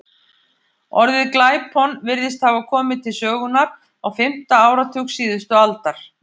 Orðið glæpon virðist hafa komið til sögunnar á fimmta áratug síðustu aldar.